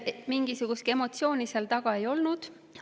Mingisugust emotsiooni seal taga ei olnud.